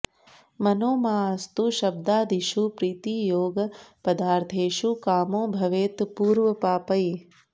मनो माऽस्तु शब्दादिषु प्रीतियोगः पदार्थेषु कामो भवेत् पूर्वपापैः